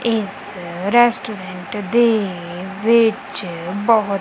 ਇਸ ਰਟੈਸੋਰੈਂਟ ਦੇ ਵਿੱਚ ਬਹੁਤ--